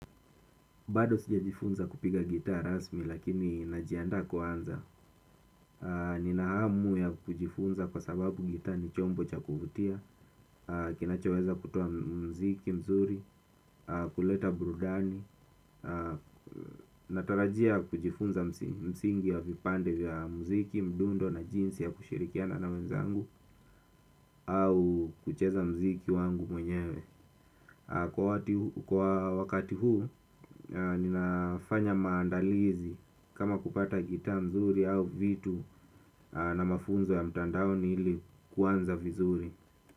Bado sijajifunza kupiga gitaa rasmi lakini najiandaa kuanza. Nina hamu ya kujifunza kwa sababu gitaa ni chombo cha kuvutia. Kinachoweza kutoa mziki mzuri, kuleta burudani. Natarajia kujifunza msingi ya vipande vya mziki, mdundo na jinsi ya kushirikiana na wenzangu au kucheza mziki wangu mwenyewe. Kwa wakati huu ninafanya maandalizi kama kupata gitaa nzuri au vitu na mafunzo ya mtandaoni ili kuanza vizuri.